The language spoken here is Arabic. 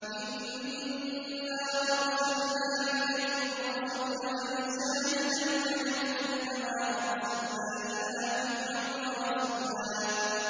إِنَّا أَرْسَلْنَا إِلَيْكُمْ رَسُولًا شَاهِدًا عَلَيْكُمْ كَمَا أَرْسَلْنَا إِلَىٰ فِرْعَوْنَ رَسُولًا